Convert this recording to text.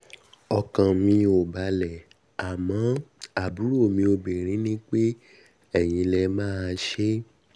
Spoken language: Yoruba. ọkàn mi ò balẹ̀ àmọ́ àbúrò mi obinrin ní pé eyín lè máa um ṣe é